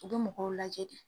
U be mɔgɔw lajɛ de.